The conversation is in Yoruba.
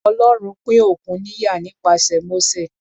Ọlọ́run pín òkun níyà nípasẹ̀ Mósè.